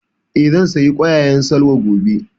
Eh, zan saya ƙwayaƙwan Salwa gobe